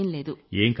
అలాంటిదేం లేదు